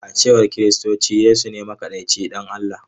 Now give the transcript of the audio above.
A cewar Kiristoci, Yesu ne makaɗaici ɗan Allah.